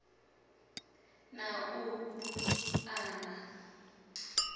na u bu a na